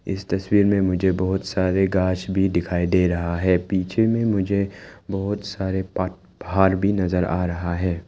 इस तस्वीर में मुझे बहुत सारे घास भी दिखाई दे रहा है पीछे में मुझे बहुत सारे पहाड़ भी नजर आ रहा है।